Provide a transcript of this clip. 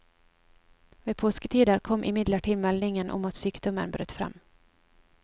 Ved påsketider kom imidlertid meldingen om at sykdommen brøt frem.